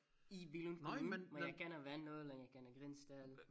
I Billund Kommune men jeg kender Vandel og jeg kender Grindsted